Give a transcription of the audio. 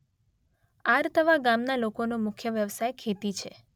આરતવા ગામના લોકોનો મુખ્ય વ્યવસાય ખેતી છે.